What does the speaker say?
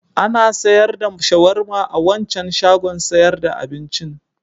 Ana sayar da shawarma a wancan shagon sayar da abincin.